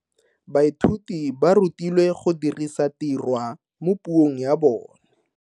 Baithuti ba rutilwe go dirisa tirwa mo puong ya bone.